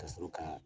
Ka sɔrɔ ka